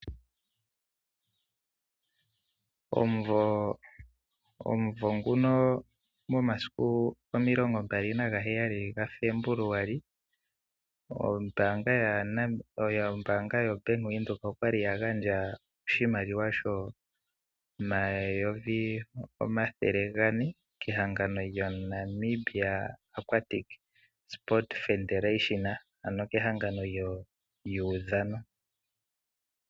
Omumvo nguno, momasiku omilongo mbali nagaheyali gaFebuluali (27 Febuluali 2026), ombaanga yoBank Windhoek oya li ya gandja oshimaliwa shooN$ 400 000 kehangano lyo"NAMIBIA AQUATIC SPORT FEDERATION", ano kehangano lyomaudhano.